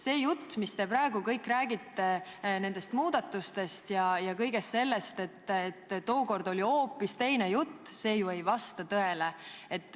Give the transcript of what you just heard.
See jutt, mis te praegu kõik räägite nendest muudatustest, et tookord oli hoopis teine jutt – see ju ei vasta tõele.